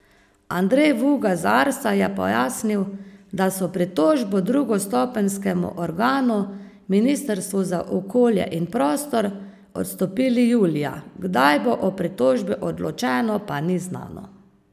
Andrej Vuga z Arsa je pojasnil, da so pritožbo drugostopenjskemu organu, ministrstvu za okolje in prostor, odstopili julija, kdaj bo o pritožbi odločeno, pa ni znano.